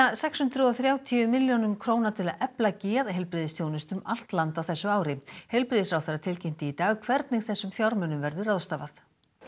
sex hundruð og þrjátíu milljónum til að efla geðheilbrigðisþjónustu um allt land á þessu ári heilbrigðisráðherra tilkynnti í dag hvernig þessum fjármunum verður ráðstafað